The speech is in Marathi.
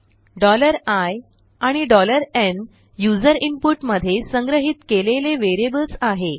i आणि n यूज़र इनपुट मध्ये संग्रहीत केलेले वेरियबल्स आहे